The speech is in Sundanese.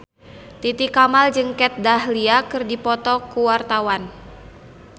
Titi Kamal jeung Kat Dahlia keur dipoto ku wartawan